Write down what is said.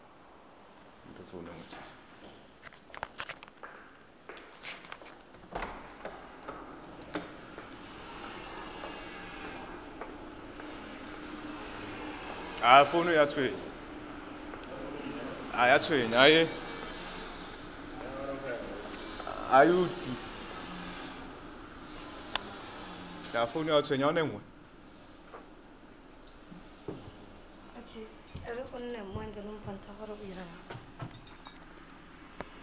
o dumetse gore o itse